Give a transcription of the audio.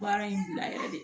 Baara in bila yɛrɛ de